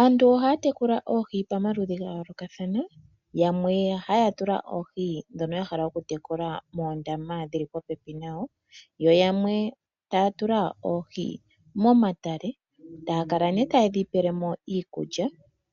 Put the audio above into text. Aantu ohaya tekula oohi omaludhi ga yoolokathana . Yamwe ohaya tula oohi ndhono ya hala okutekula moondama dhili popepi nayo, yo yamwe taya tula oohi momatale. Taya kala nee tayedhi pelemo iikulya